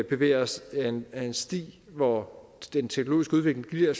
bevæger os ad en sti hvor den teknologiske udvikling giver